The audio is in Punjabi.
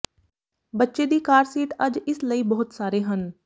ਬੱਚੇ ਦੀ ਕਾਰ ਸੀਟ ਅੱਜ ਇਸ ਲਈ ਬਹੁਤ ਸਾਰੇ ਹਨ